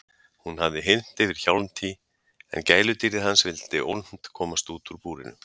Hún hafði hylmt yfir Hjálmtý en gæludýrið hans vildi ólmt komast úr búrinu.